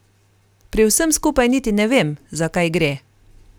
Pri vsem skupaj niti ne vem, za kaj gre.